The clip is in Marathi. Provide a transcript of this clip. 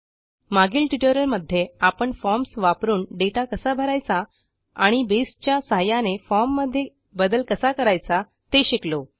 मागील ट्युटोरियलमध्ये आपण फॉर्म्स वापरून दाता कसा भरायचा आणि Baseच्या सहाय्याने फॉर्म मध्ये बदल कसा करायचा ते शिकलो